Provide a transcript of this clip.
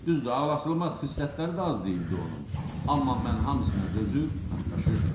Düzdür, ağlacılmax xislətləri də az deyildi onun, amma mən hamısına dözür, qatlaşırdım.